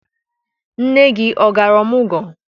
Nne gị ọ gara ọmụgwọ?